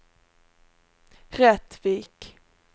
Rättvik